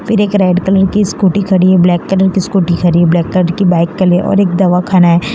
फिर एक red colour की स्कूटी खड़ी है ब्लैक कलर की स्कूटी खड़ी है ब्लैक कलर की बाइक कली है और एक दवाखाना है।